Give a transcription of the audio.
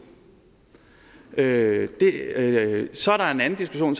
det er det af så er der en anden diskussion